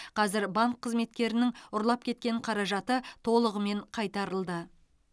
қазір банк қызметкерінің ұрлап кеткен қаражаты толығымен қайтарылды